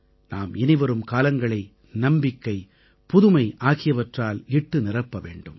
நாம் இனிவரும் காலங்களை நம்பிக்கைபுதுமை ஆகியவற்றால் இட்டுநிரப்ப வேண்டும்